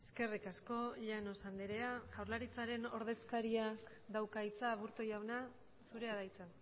eskerrik asko llanos andrea jaurlaritzaren ordezkariak dauka hitza aburto jauna zurea da hitza